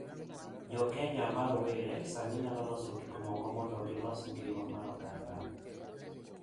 Jo Kenya ma rowere sani nyalo loso gik moko mondo gilos ngima mar oganda